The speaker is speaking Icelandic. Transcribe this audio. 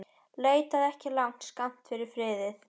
Leitaðu ekki langt yfir skammt að friði.